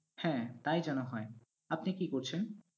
হ্যাঁ তাই যেন হয়। আপনি কি করছেন?